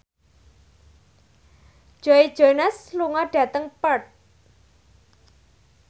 Joe Jonas lunga dhateng Perth